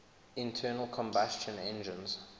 internal combustion engines